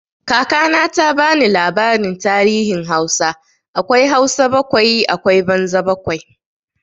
Kaka na ta ba ni labarin tarihin Hausa, akwai Hausa bakwai akwai banza bakwai.